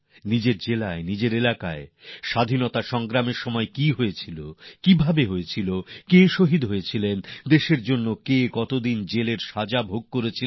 নিজেদের জেলায় নিজের এলাকায় স্বাধীনতা সংগ্রামের সময় কি হয়েছিল কে শহিদ হয়েছিলেন কে কত বছর দেশের জন্য কারাগারে ছিলেন